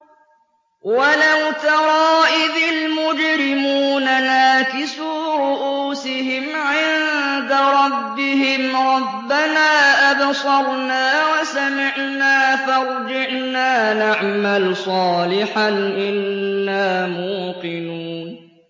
وَلَوْ تَرَىٰ إِذِ الْمُجْرِمُونَ نَاكِسُو رُءُوسِهِمْ عِندَ رَبِّهِمْ رَبَّنَا أَبْصَرْنَا وَسَمِعْنَا فَارْجِعْنَا نَعْمَلْ صَالِحًا إِنَّا مُوقِنُونَ